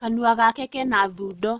Kanua gake kena thundo